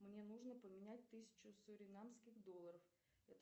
мне нужно поменять тысячу суринамских долларов